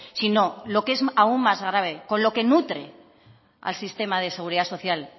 sino lo que es aún más grave con lo que nutre al sistema de seguridad social